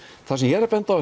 það sem ég er að benda á